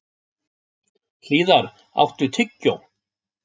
Hlíðar, áttu tyggjó?